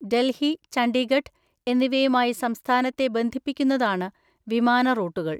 ഡൽഹി, ചണ്ഡീഗഢ് എന്നിവയുമായി സംസ്ഥാനത്തെ ബന്ധിപ്പിക്കുന്നതാണ് വിമാന റൂട്ടുകൾ.